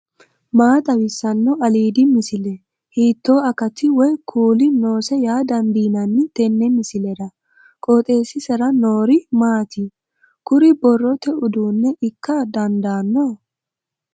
maa xawissanno aliidi misile ? hiitto akati woy kuuli noose yaa dandiinanni tenne misilera? qooxeessisera noori maati ? kuri borrote uduunne ikka dandaanno